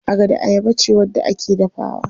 Agada ayaba ce wadda ake dafawa.